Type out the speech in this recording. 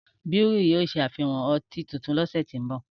Búhírì yóò ṣàfihán ọtí tuntun ní ọ̀sẹ̀ tí ń bò